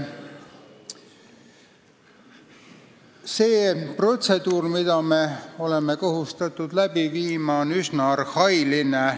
See protseduur, mida me oleme kohustatud läbi viima, on üsna arhailine.